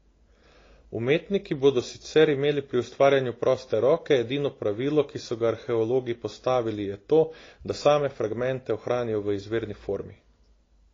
Umetniki bodo sicer imeli pri ustvarjanju proste roke, edino pravilo, ki so ga arheologi postavili je to, da same fragmente ohranijo v izvirni formi.